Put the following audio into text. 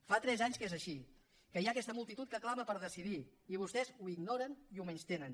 fa tres anys que és així que hi ha aquesta multitud que clama per decidir i vostès ho ignoren i ho menystenen